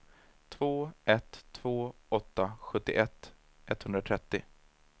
två ett två åtta sjuttioett etthundratrettio